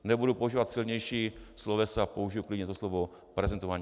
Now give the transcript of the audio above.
Nebudu používat silnější slovesa, použiji klidně to slovo prezentování.